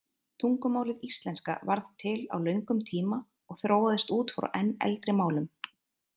Tungumálið íslenska varð til á löngum tíma og þróaðist út frá enn eldri málum.